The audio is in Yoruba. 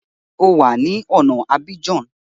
Ṣé o wà ní ọ̀na Abidjan?